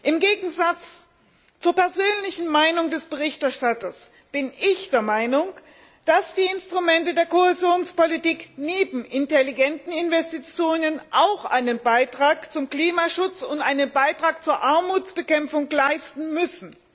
Im Gegensatz zur persönlichen Meinung des Berichterstatters bin ich der Meinung, dass die Instrumente der Kohäsionspolitik neben intelligenten Investitionen auch einen Beitrag zum Klimaschutz und einen Beitrag zur Armutsbekämpfung leisten müssen.